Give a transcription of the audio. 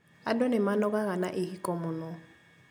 Andũ nĩmanogaga na ihiko mũno